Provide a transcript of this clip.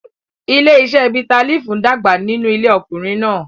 Ilé-iṣẹ́ bitterleaf ń dàgbà nínú ilé ọkùnrin náà.